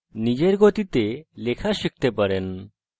নিজের গতিতে লেখা শিখতে পারেন